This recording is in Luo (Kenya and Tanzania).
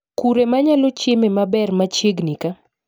Kure manyalo chieme maber machiegni kaa